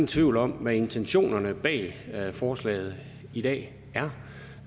tvivl om hvad intentionerne bag forslaget i dag er